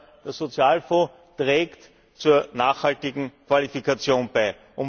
Und der Sozialfonds trägt zur nachhaltigen Qualifikation bei.